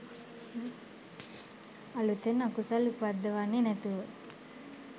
අලූතෙන් අකුසල් උපද්දවන්නේ නැතුව